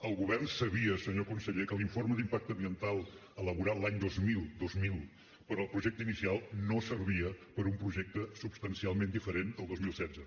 el govern sabia senyor conseller que l’informe d’impacte ambiental elaborat l’any dos mil dos mil per al projecte inicial no servia per a un projecte substancialment diferent el dos mil setze